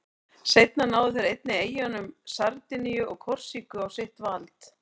Seinna náðu þeir einnig eyjunum Sardiníu og Korsíku á sitt vald.